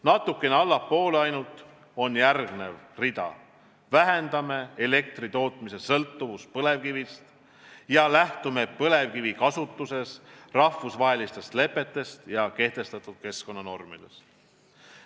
Natuke allpool on järgmine rida: vähendame elektritootmise sõltuvust põlevkivist ja lähtume põlevkivi kasutuses rahvusvahelistest lepetest ja kehtestatud keskkonnanormidest.